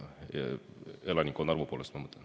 Elanikkonna arvu poolest, ma mõtlen.